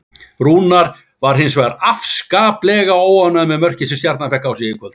Rúnar var hins vegar afskaplega óánægður með mörkin sem Stjarnan fékk á sig í kvöld.